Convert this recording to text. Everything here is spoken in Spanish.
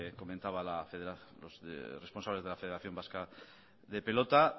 comentaban los responsables de la federación vasca de pelota